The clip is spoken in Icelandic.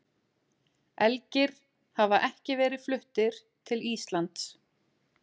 Elgir hafa ekki verið fluttir til Íslands.